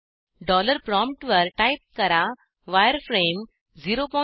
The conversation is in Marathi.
डॉलर प्रॉमप्टवर टाईप करा वायरफ्रेम 005